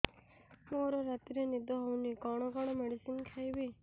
ମୋର ରାତିରେ ନିଦ ହଉନି କଣ କଣ ମେଡିସିନ ଖାଇବି